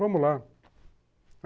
Vamos lá.